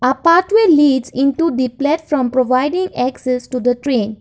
a path way leads into the platform providing access to the train.